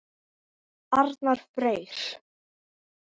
Þinn Arnar Freyr.